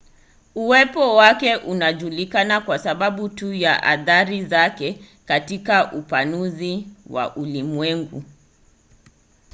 uwepo wake unajulikana kwa sababu tu ya athari zake katika upanuzi wa ulimwengu